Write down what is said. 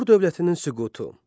Assur dövlətinin süqutu.